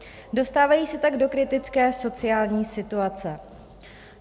Dostávají se tak do kritické sociální situace.